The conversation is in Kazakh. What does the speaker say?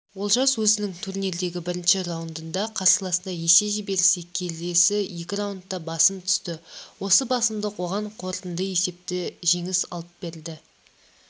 олжас өзінің турнирдегі бірінші раундында қарсыласына есе жіберсе келесі екі раундта басым түсті осы басымдық оған қорытынды есепте жеңіс алып берді